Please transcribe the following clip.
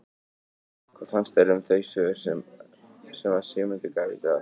Hvað fannst þér um þau svör sem að Sigmundur gaf í dag?